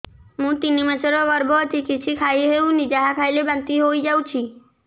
ମୁଁ ତିନି ମାସର ଗର୍ଭବତୀ କିଛି ଖାଇ ହେଉନି ଯାହା ଖାଇଲେ ବାନ୍ତି ହୋଇଯାଉଛି